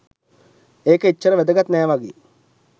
ඒක එච්චර වැදගත් නෑ වගේ